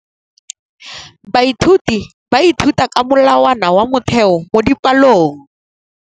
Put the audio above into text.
Baithuti ba ithuta ka molawana wa motheo mo dipalong.